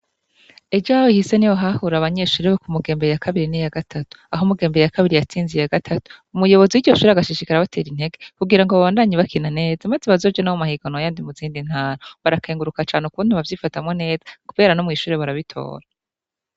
Ejo hahise niho hahura ababanyeshure bo ku Mugembwe ya kabiri n'iya gatatu, aho Mugembwe ya kabiri yatsinze iya gatatu. Umuyobozi w'iryo shure agashishikara abatera intege, kugira ngo babandanye bakina neza maze bazoje no mu yandi mahiganwa muzindi ntara, barakenguruka cane ingene bavyibatamwo neza kubera no mw'ishure barabitora.